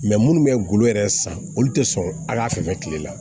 minnu bɛ golo yɛrɛ san olu tɛ sɔn ala fɛ tile la